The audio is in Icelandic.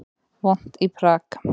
Vont í Prag